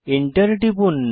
enter টিপুন